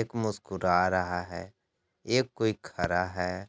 एक मुस्कुरा रहा है एक कोई खड़ा है।